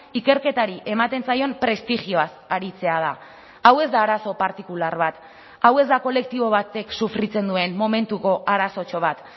ikerketari ematen zaion prestigioaz aritzea da hau ez da arazo partikular bat hau ez da kolektibo batek sufritzen duen momentuko arazotxo bat